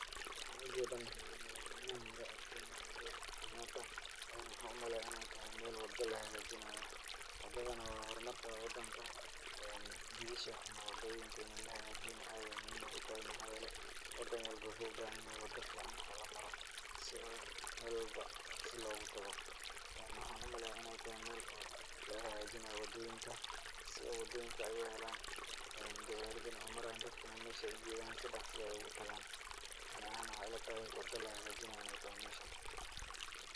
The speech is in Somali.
Waxaan u jeedaa madaxweynaha madaxweynaha hore oo Kenya Uhuru kenyata. Waxaan u maleeya inay tahay meel wada lahegaajinaayo. Wadadana waa hormarka wadanka. Jidasha ama wadooyinka in lahegaajiyona aad ayaay muhiim ugu tahay maxaa yeelay, wadan walbo wuxuu u bahanyahay wada ficaan oo lamaro si oo meel walbo dhakhsi loogu tago. Maxaan u maleeyaa inay tahay meel oo laga hegaajinaayo wadooyinka si oo wadooyinka ay u helaan ee gawaaridana ay u maraan dadkana meesha ay u jeedaan si dakhsi ah ay u tagaan. Ani ahaan waxaay ilatahay wada lahegaajinaayo inay tahay meeshan.